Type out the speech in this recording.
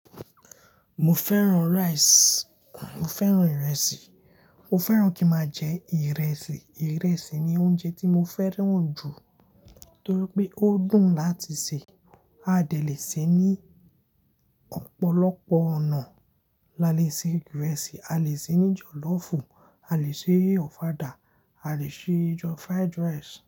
Mo fẹ́ràn rice. Mo fẹ́ràn ìrẹsì. Mo fẹ́ràn kí ma jẹ ìrẹsì. Ìrẹsì ni oúnjẹ tí mo fẹ́ràn jù nítorí pé ó dùn láti sè. A dè le sè ní ọ̀pọ̀lọpọ̀ ọ̀nà. La lè sè ìrẹsì, a lè sè é ní jọ̀lọ́fù, a lè sè é ofada, a lè sè é jọ fried rice.